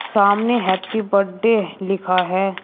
सामने happy birthday लिखा है।